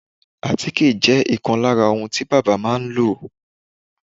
àtíkè jẹ́ ìkan lára ohun tí bábà máà ń lò.